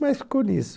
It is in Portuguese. Mas ficou nisso.